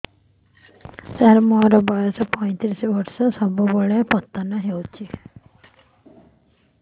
ସାର ମୋର ବୟସ ପୈତିରିଶ ବର୍ଷ ସବୁବେଳେ ପତନ ହେଉଛି